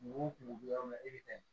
Kungo kungo bɛ yɔrɔ min na i bɛ taa